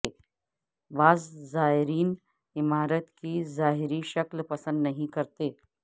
بعض زائرین عمارت کی ظاہری شکل پسند نہیں کرتے